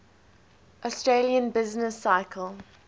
austrian business cycle